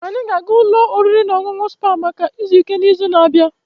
Anyị ga-aga ụlọ oriri na ọṅụṅụ Spa maka izu ike n'izu na-abịa